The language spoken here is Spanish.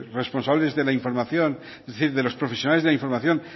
responsables de la información es decir de los profesionales de la información